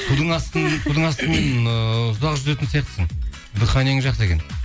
судың астымен ыыы ұзақ жүзетін сияқтысың дыханиең жақсы екен